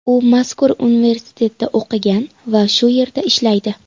U mazkur universitetda o‘qigan va shu yerda ishlaydi.